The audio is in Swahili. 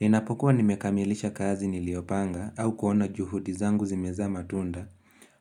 Ninapokuwa nimekamilisha kazi niliopanga au kuona juhudi zangu zimeza matunda